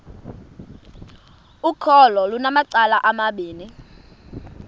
ukholo lunamacala amabini